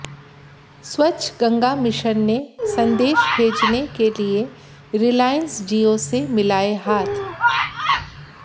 स्वच्छ गंगा मिशन ने संदेश भेजने के लिये रिलायंस जिओ से मिलाये हाथ